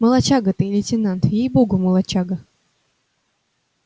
молодчага ты лейтенант ей богу молодчага